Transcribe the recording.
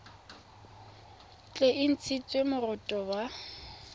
tle e ntshiwe moroto wa